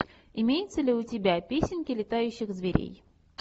имеется ли у тебя песенки летающих зверей